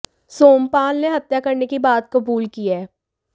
सोमपाल ने हत्या करने की बात कबूल की है